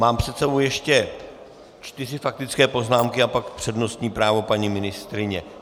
Mám před sebou ještě čtyři faktické poznámky a pak přednostní právo paní ministryně.